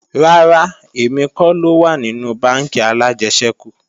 Rárá, èmi kọ́ ló wà nínú bánkì alájẹsẹ́kù